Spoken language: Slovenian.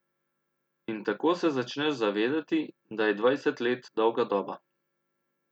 In tako se začneš zavedati, da je dvajset let dolga doba.